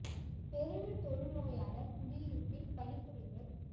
பெருவில் தொழுநோயாளர் குடியிருப்பில் பணிபுரிதல்